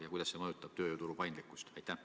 Ja kuidas see eelnõu mõjutab tööjõuturu paindlikkust?